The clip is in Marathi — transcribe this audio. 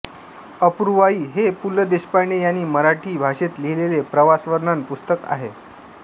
अपूर्वाई हे पु ल देशपांडे यांनी मराठी भाषेत लिहिलेले प्रवासवर्णनपर पुस्तक आहे